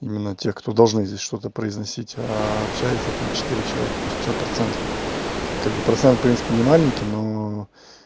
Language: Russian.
именно те кто должны здесь что-то произносить а общаются там четыре человека то есть пятьдесят процентов как бы процент в принципе не маленький но